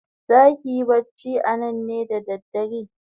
Zaki yi bacci anan ne da dare?